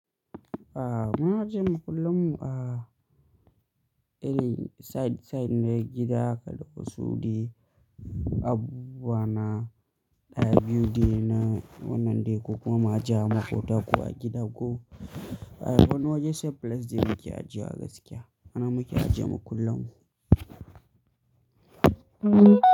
A muna ajiyema kullum a, eh, side, side na gida haka da kusurdi, abu bana ɗaya biyu de na wannan dai ko kuma mu ajiya ma ko tako a gida ko. A wani waje sai place de muke ajiya gaskiya. Hana muke ajiya mu kullum.